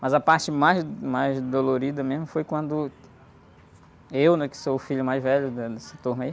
Mas a parte mais, mais dolorida mesmo, foi quando eu, né? Que sou o filho mais velho, né?